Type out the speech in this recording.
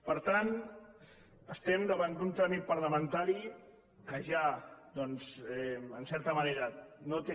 per tant estem davant d’un tràmit parlamentari que ja doncs en certa manera no té